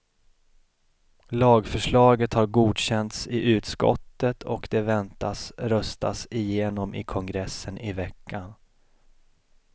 Lagförslaget har godkänts i utskottet och det väntas röstas igenom i kongressen i veckan.